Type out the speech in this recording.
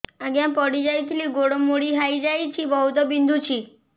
ଆଜ୍ଞା ପଡିଯାଇଥିଲି ଗୋଡ଼ ମୋଡ଼ି ହାଇଯାଇଛି ବହୁତ ବିନ୍ଧୁଛି